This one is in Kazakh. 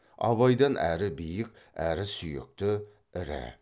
абайдан әрі биік әрі сүйекті ірі